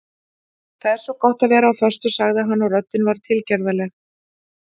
Það er svo gott að vera á föstu sagði hann og röddin var tilgerðarleg.